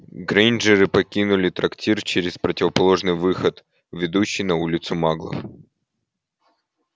грэйнджеры покинули трактир через противоположный выход ведущий на улицу маглов